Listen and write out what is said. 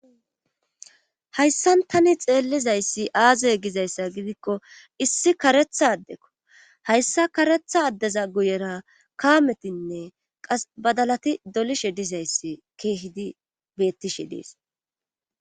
Hayssan tani xeellizayssi aazey gizayssa gidikko issi karetha addekko hayssa karetha addeza guyera kaametinne qas badalati dolishe dizayssi keehidi beettishe dees